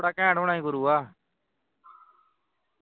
ਬੜਾ ਘੈਂਟ ਹੋਣਾ ਸੀ ਗੁਰੂਵਾ